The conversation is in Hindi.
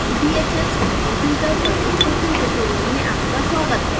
connecting sbhs to computer पर स्पोकन ट्यूटोरियल में आपका स्वागत है